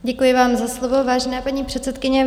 Děkuji vám za slovo, vážená paní předsedkyně.